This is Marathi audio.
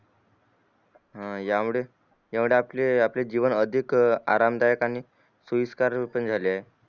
हा या मुळे तेवढे आपले जीवन अधिक अराम दायक आणि सोयीस्कर रीतीने झाले